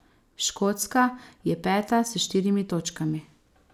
Škotska je peta s štirimi točkami.